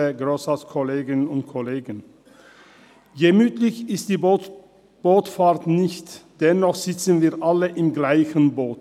Gemütlich ist die Bootsfahrt nicht, dennoch sitzen wir alle im selben Boot.